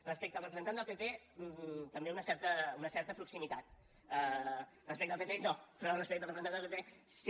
respecte al representant del pp també una certa una certa proximitat respecte al pp no però respecte al representant del pp sí